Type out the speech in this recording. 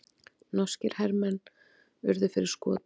Norskir hermenn urðu fyrir skotum